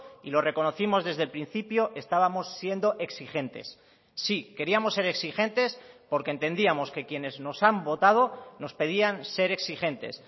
y lo reconocimos desde el principio estábamos siendo exigentes sí queríamos ser exigentes porque entendíamos que quienes nos han votado nos pedían ser exigentes